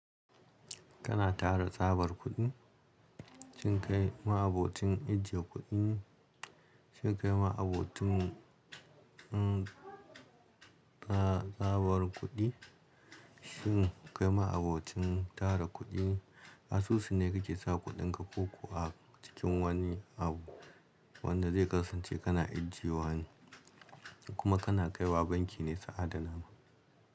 Kana tara tsabar kuɗi, shin kai ma abocin ajiye kuɗi ne shin kai ma abocin mm, mm, tsabar kuɗi, shin kai ma abocin tara kuɗi ne, asusu ne ke sa kuɗinka koko a cikin wani abu wanda zai kasance kana ajiye wane ko kuma kana kaiwa banki ne su adana ma?